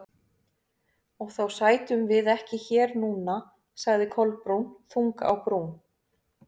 Og þá sætum við ekki hér núna- sagði Kolbrún, þung á brún.